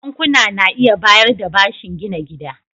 Bankuna na iya bayar da bashin gina gida.